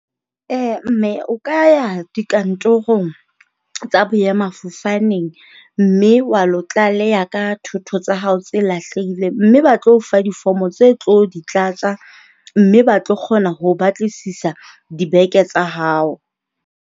Mme o ka ya dikantorong tsa boemafofaneng mme wa lo tlaleha ka thotho tsa hao tse lahlehileng, mme ba tlo o fa difomo tse o tlo di tlatsa mme ba tlo kgona ho o batlisisa dibeke tsa hao.